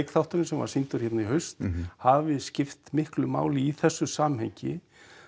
þátturinn sem var sýndur hérna í haust hafi skipt miklu máli í þessu samhengi